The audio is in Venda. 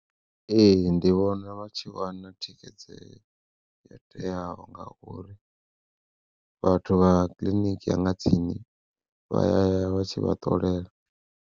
Ee ndi vhona vha tshi vha na thikhedzeo yo teaho ngauri vhathu vha kiḽiniki ya nga tsini vha ya ya vha tshi vha ṱolela.